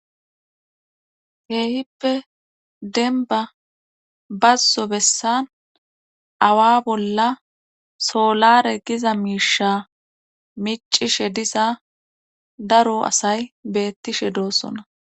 heehippe denba bazzo bessan awa bolla soolare giza miisha micishe disa daro asay beettishe doossona